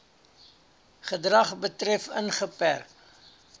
gedrag betref ingeperk